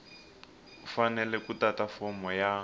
fanele ku tata fomo ya